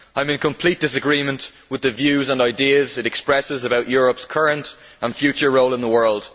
I am in complete disagreement with the views and ideas it expresses about Europe's current and future role in the world.